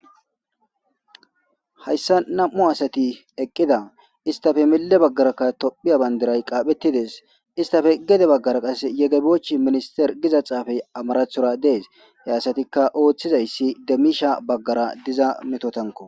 Hayssa nam'u asati eqqida istafe mille baggaraka tophiya bandiray qaaphetides istafe gede baggara qas yege boch minister giza xaafey amarathora dees hey asatikka ooththizayssi demmisha baggara diza metotanko.